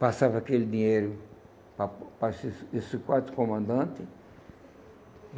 Passava aquele dinheiro para para esses esses quatro comandantes.